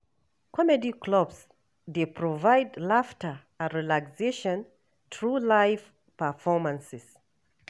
Comedy clubs dey provide laughter and relaxation through live performances.